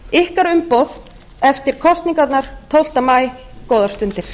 ykkar umboð eftir kosningarnar tólfta maí góðar stundir